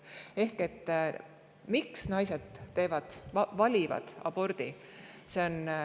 Miks naised valivad abordi?